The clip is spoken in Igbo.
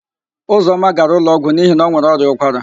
Ụzọma gara ụlọọgwụ n'ihi na o nwere ọrịa ụkwara.